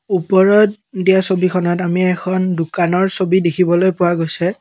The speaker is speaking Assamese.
ওপৰত দিয়া ছবিখনত আমি এখন দোকানৰ ছবি দেখিবলৈ পোৱা গৈছে।